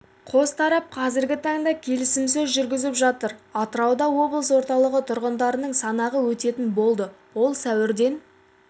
халық санағын өткізу шешімі денсаулық сақтау жүйесіне міндетті медициналық сақтандыруды енгізуге байланысты біз көппәтерлі және жекеменшік